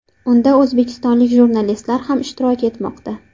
Unda o‘zbekistonlik jurnalistlar ham ishtirok etmoqda.